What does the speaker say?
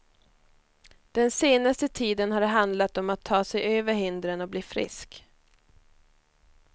Den senaste tiden har det handlat om att ta sig över hindren och bli frisk.